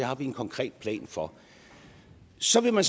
har vi en konkret plan for så vil man